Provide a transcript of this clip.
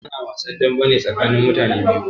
Ana wasn dambe ne tsakanin mutane biyu.